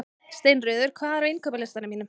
Steinröður, hvað er á innkaupalistanum mínum?